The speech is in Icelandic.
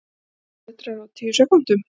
Hundrað metrar á tíu sekúndum!